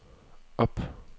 op